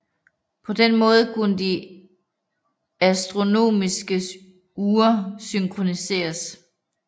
På den måde kunne de astronomiske ure synkroniseres